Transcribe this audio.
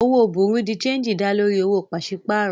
Òwò bùrú dì séǹjì dá lórí owó pàṣípàrọ̀